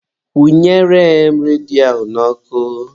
Kwụnyere m redio ahụ n'ọkụ.